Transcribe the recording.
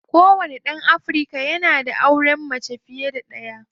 Kowane ɗan Afirka yanada yanayin auren mace fiye da ɗaya.